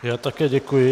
Já také děkuji.